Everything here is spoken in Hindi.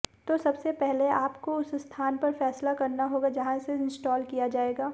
तो सबसे पहले आपको उस स्थान पर फैसला करना होगा जहां इसे इंस्टॉल किया जाएगा